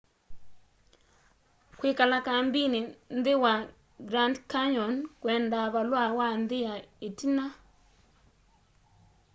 kwĩkala kambĩnĩ nthĩ wa grand canyon kwendaa valũa wa nthĩ ya ĩtina